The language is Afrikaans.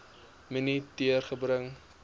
minute duur gebruik